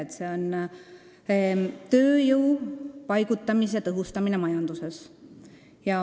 Pealkiri on siin "Tööjõu paigutumise tõhustamine majanduses".